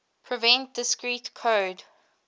prevent discrete code